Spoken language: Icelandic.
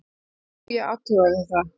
Já, ég athugaði það.